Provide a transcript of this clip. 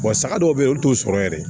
saga dɔw be yen olu t'o sɔrɔ yɛrɛ